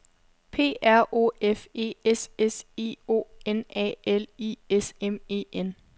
P R O F E S S I O N A L I S M E N